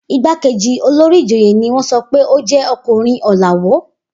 Igbákejì olórí ìjòyè ni wọ́n sọ pé ó jẹ́ ọkùnrin ọ̀làwọ́.